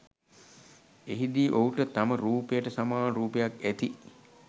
එහිදී ඔහුට තම රූපයට සමාන රූපයක් ඇති